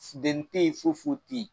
Fundɛnni tɛ ye foyi foyi te yen